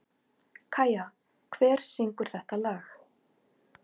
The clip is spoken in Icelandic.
Kæja, hver syngur þetta lag?